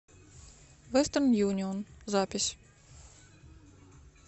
вестерн юнион запись